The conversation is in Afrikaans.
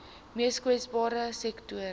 mees kwesbare sektore